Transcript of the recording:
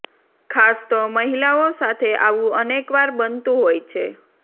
ખાસ તો મહિલાઓ સાથે આવું અનેકવાર બનતું હોય છે